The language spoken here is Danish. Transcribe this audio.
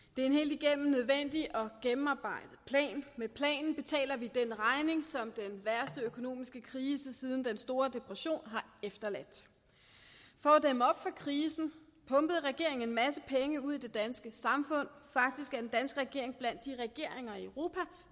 det er en helt igennem nødvendig og gennemarbejdet plan og med planen betaler vi den regning som den værste økonomiske krise siden den store depression har efterladt for at dæmme op for krisen pumpede regeringen en masse penge ud i det danske samfund faktisk er den danske regering blandt de regeringer i europa